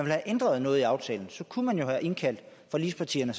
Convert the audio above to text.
have ændret noget i aftalen kunne man jo have indkaldt forligspartierne